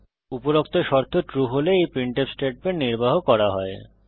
উপরোক্ত শর্ত ট্রু হলে এই প্রিন্টফ স্টেটমেন্ট নির্বাহ করা হয়